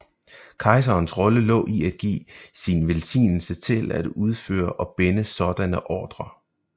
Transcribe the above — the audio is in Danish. Kejserens rolle lå i at give sin velsignelse til at udføre og binde sådanne ordrer